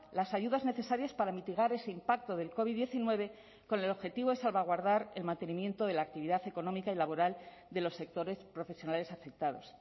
las ayudas necesarias para mitigar ese impacto del covid diecinueve con el objetivo de salvaguardar el mantenimiento de la actividad económica y laboral de los sectores profesionales afectados